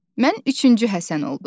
Mən üçüncü Həsən oldum.